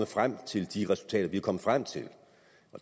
frem til de resultater vi er kommet frem til